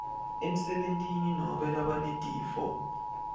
emsebentini nobe labanetifo